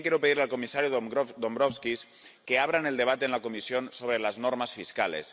Y también quiero pedirle al comisario Dombrovskis que abran el debate en la Comisión sobre las normas fiscales.